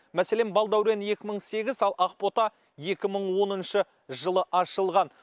мәселен балдәурен екі мың сегіз ал ақбота екі мың оныншы жылы ашылған